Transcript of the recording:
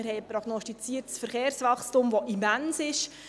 Wir haben ein prognostiziertes Verkehrswachstum, das immens ist.